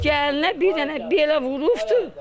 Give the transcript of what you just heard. Gəlinə bir dənə belə vurubdur.